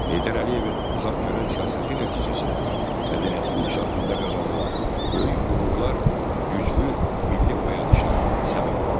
Heydər Əliyevin uzaqgörən siyasəti nəticəsində mədəniyyətin inkişafında qazanılan böyük uğurlar güclü milli oyanışa səbəb oldu.